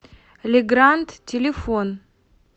ле гранд телефон